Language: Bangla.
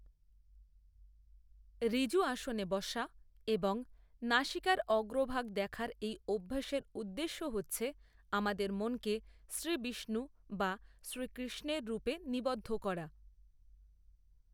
ঋজু আসনে বসা এবং নাসিকার অগ্রভাগ দেখার এই অভ্যাসের উদ্দেশ্য হচ্ছে আমাদের মনকে শ্রীবিষ্ণু বা শ্রীকৃষ্ণের রূপে নিবদ্ধ করা।